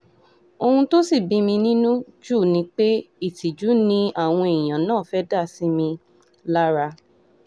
ohun tó sì bí mi nínú jù ni pé ìtìjú ni ni àwọn èèyàn náà fẹ́ẹ́ dá sí mi lára